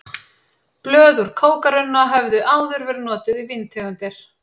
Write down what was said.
Blöð úr kókarunna höfðu áður verið notuð í víntegundir.